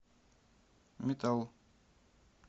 метал